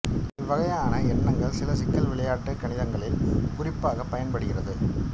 இவ்வகையான எண்கள் சில சிக்கல் விளையாட்டுக் கணிதங்களில் குறிப்பாகப் பயன்படுகின்றது